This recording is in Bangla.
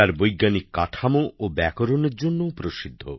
বৈজ্ঞানিক কাঠামো ও ব্যাকরণের জন্যও প্রসিদ্ধ